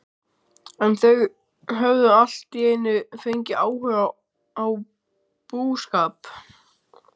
En þau höfðu allt í einu fengið áhuga á búskap.